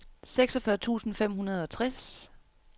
seksogfyrre tusind fem hundrede og tres